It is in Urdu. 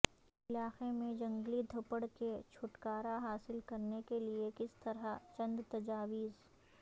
علاقے میں جنگلی دھپڑ کے چھٹکارا حاصل کرنے کے لئے کس طرح چند تجاویز